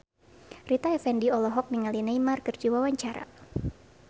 Rita Effendy olohok ningali Neymar keur diwawancara